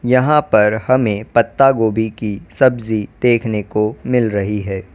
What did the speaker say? यहां पर हमें पत्ता गोभी की सब्जी देखने को मिल रही है।